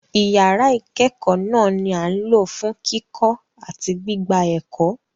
Ìyàrá ìkẹẹkọ náà ni a ǹ lò fún kíkọ́ àti gbigbạ ẹkọ́.